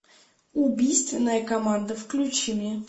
убийственная команда включи мне